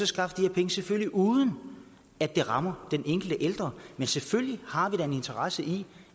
skaffe de her penge selvfølgelig uden at det rammer den enkelte ældre men selvfølgelig har vi da en interesse i